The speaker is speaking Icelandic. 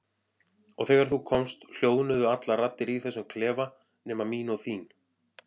Og þegar þú komst hljóðnuðu allar raddir í þessum klefa nema mín og þín.